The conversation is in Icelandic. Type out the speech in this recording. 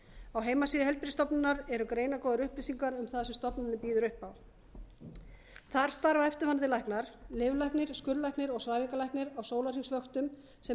á heimasíðu heilbrigðisstofnunar eru greinargóðar upplýsingar um það sem stofnunin býður upp á þar starfa eftirfarandi læknar lyflæknir skurðlæknir og svæfingalæknir á sólarhringsvöktum sem